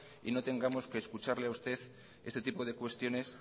y no tengamos que escucharle a usted este tipo de cuestiones